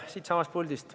Siitsamast puldist.